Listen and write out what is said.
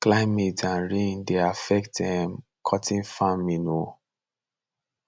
climate and rain dey affect um cotton farming um